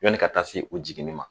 Yanni ka taa se u jiginni ma